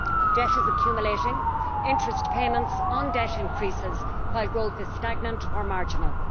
Debt is accumulating interest payments on debt increase while growth is stagnant or marginal.